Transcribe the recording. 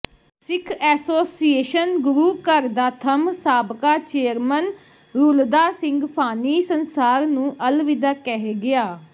ਸਿੱਖ association ਗੁਰੂਘਰ ਦਾ ਥੰਮ੍ਹ ਸਾਬਕਾ ਚੇਅਰਮਨ ਰੁਲਦਾ ਸਿੰਘ ਫਾਨੀ ਸੰਸਾਰ ਨੂੰ ਅਲਵਿਦਾ ਕਹਿ ਗਿਆ